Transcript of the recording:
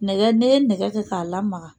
Nɛgɛ ne ye nɛgɛ kɛ k'a lamaga